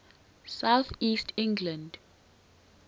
south east england